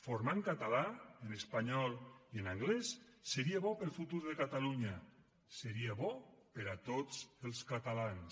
formar en català en espanyol i en anglès seria bo per al futur de catalunya seria bo per a tots els catalans